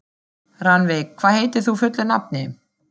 Rannveig, hvað heitir þú fullu nafni?